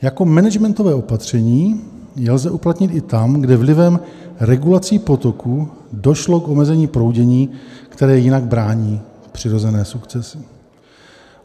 Jako managementové opatření je lze uplatnit i tam, kde vlivem regulací potoků došlo k omezení proudění, které jinak brání přirozené sukcesi.